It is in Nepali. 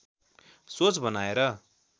सोच बनाएर